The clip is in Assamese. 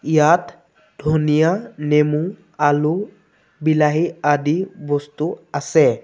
ইয়াত ধনীয়া নেমু আলু বিলাহী আদি বস্তুও আছে।